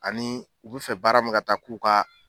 Ani u bɛ fɛ baara min ka taa k'u ka